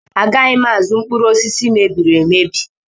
Agaghị m azụ mkpụrụ osisi mebiri emebi.